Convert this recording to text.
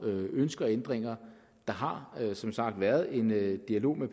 ønsker ændringer der har som sagt været en dialog med